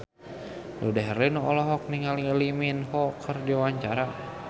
Dude Herlino olohok ningali Lee Min Ho keur diwawancara